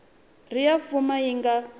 ri ya mfumo yi nga